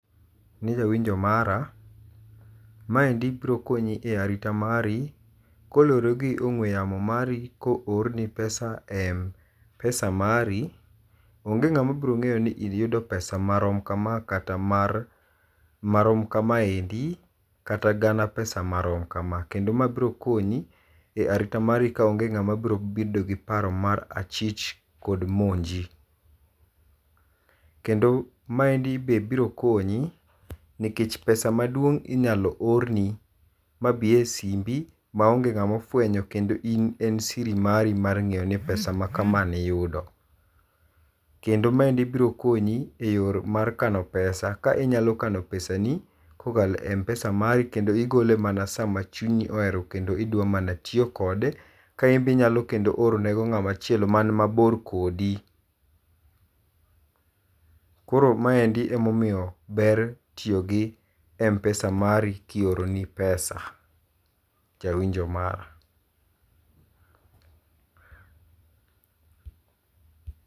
Ne jawinjo mara, maendi biro konyi e arita mari koluore gi ongwe yamo mari ka oorni pesa e Mpesa mari, onge ngama biro ngeyo ni iyudo pesa marom kama kata mar marom kameandi kata gana pesa marom kama. Kendo mae biro konyi e arita mari kaonge ngama biro bedo gi paro mar achich kod monji. Kendo maendi be biro konyi nikech pesa maduong inyalo oorni mabi e simbi maonge ngama ofwenyo kendo en siri mari mar ngeyo ni pesa ma kama ne iyudo. Kendo mae biro konyi e yor mar kano pesa ka inyalo kano pesani kokalo e Mpesa mari kendo oigole mana sam achunyi ohero kendo idwa mana tiyo kode. Ka in bende inya mana orone ngama chielo man mabor kodi. Koro maendi ema omiyo ber tiyogi Mpesa mari kioroni pesa jawinjo mara